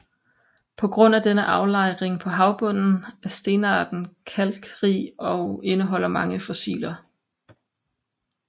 På grund af denne aflejring på havbunden er stenarten kalkrig og indeholder mange fossiler